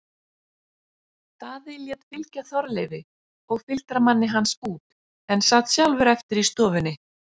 Daði lét fylgja Þorleifi og fylgdarmanni hans út en sat sjálfur eftir í stofunni.